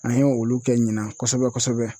An ye olu kɛ ɲinan kosɛbɛ kosɛbɛ